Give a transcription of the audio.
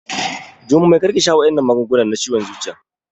Jummai kar ki sha waɗannan magungunan ciwon zuciyan!